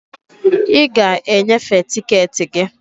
I ga e nyefee tiketi gị.